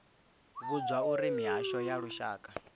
vhudzwa uri mihasho ya lushaka